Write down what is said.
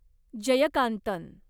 Jayakanthan